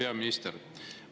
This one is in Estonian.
Hea peaminister!